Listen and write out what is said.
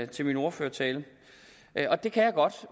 til min ordførertale og det kan jeg godt